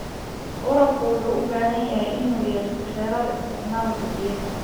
Waraabka wuxuu u baahan yahay inuu yeesho xeerar isticmaalka biyaha.